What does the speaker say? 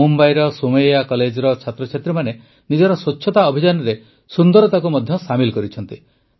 ମୁମ୍ବାଇର ସୋମୈୟା କଲେଜର ଛାତ୍ରଛାତ୍ରୀମାନେ ନିଜର ସ୍ୱଚ୍ଛତା ଅଭିଯାନରେ ସୁନ୍ଦରତାକୁ ମଧ୍ୟ ସାମିଲ କରିଛନ୍ତି